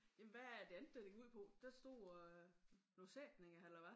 Jamen hvad er det andet dér det gik ud på der stod øh nogen sætninger eller hvad?